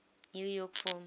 new york film